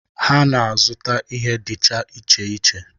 Ha na-azụta ihe dịcha iche iche.